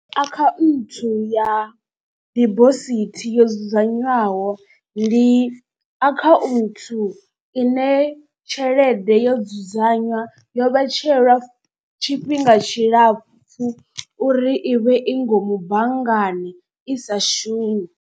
Akhaunthu ya dibosithi yo dzudzanywaho ndi akhaunthu ine tshelede yo dzudzanywa yo vhetshelwa tshifhinga tshilapfu uri i vhe i ngomu banngani i sa shumi.